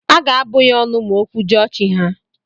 Aga abụ ya ọnụ ma o kwujọọ chi ha.